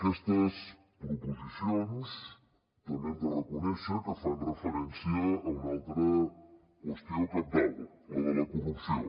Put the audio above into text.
aquestes proposicions també hem de reconèixer que fan referència a una altra qüestió cabdal la de la corrupció